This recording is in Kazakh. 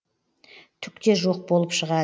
түк те жоқ болып шығады